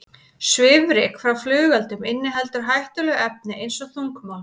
Svifryk frá flugeldum inniheldur hættuleg efni eins og þungmálma.